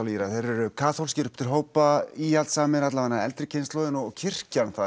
Írar eru kaþólskir upp til hópa íhaldssamir allavega eldri kynslóðin og kirkjan